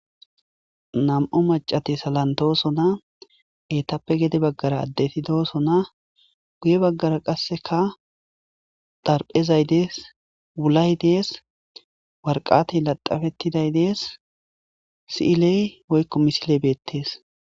Nam'u maccati salanttosona eetappe gedde baggera adeti dossona guuye baggara qasseka xaaraphezzay dessi wuulay dessi waraqqatay laxxafetiday dessi siiley woykko missiley bettes.